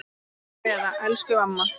HINSTA KVEÐA Elsku amma.